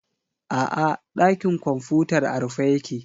A'a, ɗakin kwamfutar a rufe yake.